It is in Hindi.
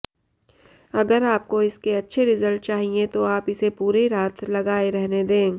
अगर आपको इसके अच्छे रिजल्ट चाहिए तो आप इसे पूरी रात लगाए रहने दे